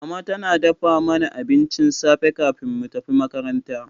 Mama tana dafa mana abincin safe kafin mu tafi makaranta.